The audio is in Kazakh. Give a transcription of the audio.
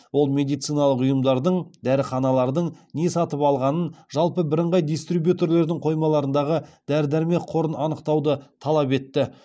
ол медициналық ұйымдардың дәріханалардың не сатып алғанын жалпы бірыңғай дистрибьютерлердің қоймаларындағы дәрі дәрмек қорын анықтауды талап етті